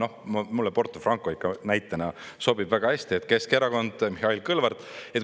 Mulle see Porto Franco ikka näitena sobib väga hästi – Keskerakond, Mihhail Kõlvart.